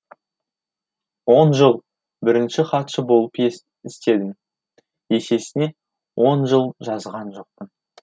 он жыл бірінші хатшы болып істедім есесіне он жыл жазған жоқпын